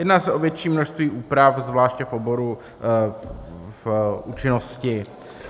Jedná se o větší množství úprav, zvláště v oboru účinnosti.